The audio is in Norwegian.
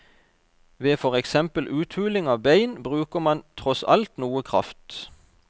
Ved for eksempel uthuling av bein, bruker man tross alt noe kraft.